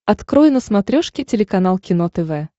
открой на смотрешке телеканал кино тв